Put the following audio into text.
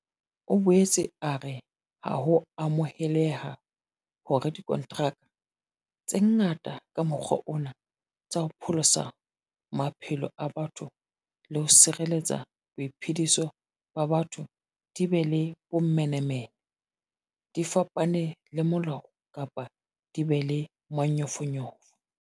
O boetse a re ha ho amoheleha hore dikontraka tse ngata ka mokgwa ona tsa ho pholosa maphelo a batho le ho sireletsa boiphediso ba batho di be le bomenemene, di fapane le molao kapa di be le manyofonyofo.